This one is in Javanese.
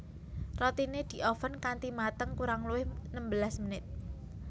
Rotine dioven kanthi mateng kurang luwih nembelas menit